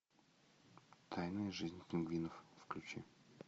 тайная жизнь пингвинов включи